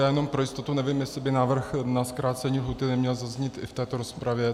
Já jenom pro jistotu, nevím, jestli by návrh na zkrácení lhůty neměl zaznít i v této rozpravě...